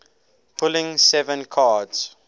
pulling seven cards